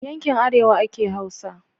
Yankin arewa ake hausa